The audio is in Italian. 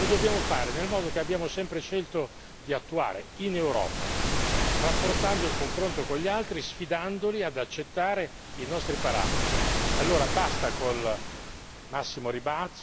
Sono uno dei fondamenti delle politiche keynesiane e lo dobbiamo nel modo che abbiamo sempre scelto di attuare in Europa, rafforzando il confronto con gli altri, sfidandoli ad accettare i nostri parametri.